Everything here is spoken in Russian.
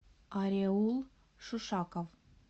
ареул шишаков